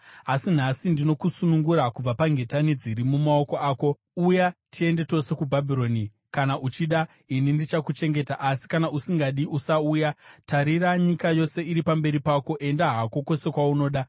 Asi nhasi ndinokusunungura kubva pangetani dziri mumaoko ako. Uya tiende tose kuBhabhironi, kana uchida, ini ndichakuchengeta; asi kana usingadi, usauya. Tarira, nyika yose iri pamberi pako; enda hako kwose kwaunoda.”